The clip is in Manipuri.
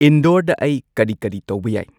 ꯏꯟꯗꯣꯔꯗ ꯑꯩ ꯀꯔꯤ ꯀꯔꯤ ꯇꯧꯕ ꯌꯥꯏ